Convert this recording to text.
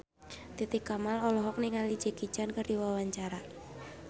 Titi Kamal olohok ningali Jackie Chan keur diwawancara